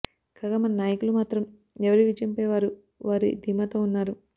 కాగా మన నాయకులూ మాత్రం ఎవరి విజయం పై వారు వారి ధీమాతో ఉన్నారు